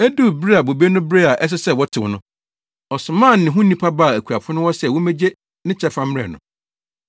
Eduu bere a bobe no beree a ɛsɛ sɛ wɔtew no, ɔsomaa ne ho nnipa baa akuafo no hɔ sɛ wommegye ne kyɛfa mmrɛ no.